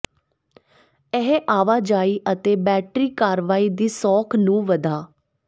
ਇਹ ਆਵਾਜਾਈ ਅਤੇ ਬੈਟਰੀ ਕਾਰਵਾਈ ਦੀ ਸੌਖ ਨੂੰ ਵਧਾ